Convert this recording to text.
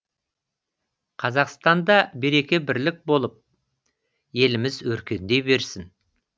қазақстанда береке бірлік болып еліміз өркендей берсін